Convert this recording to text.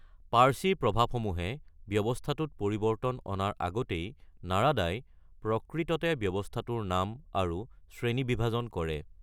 পাৰ্চী প্ৰভাৱসমূহে ব্যৱস্থাটোত পৰিৱৰ্তন অনাৰ আগতেই নাৰাদাই প্ৰকৃততে ব্যৱস্থাটোৰ নাম আৰু শ্ৰেণীবিভাজন কৰে।